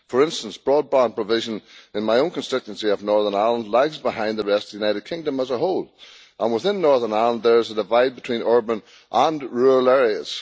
For instance, broadband provision in my own constituency of Northern Ireland lags behind the rest of the United Kingdom as a whole and, within Northern Ireland, there is a divide between urban and rural areas.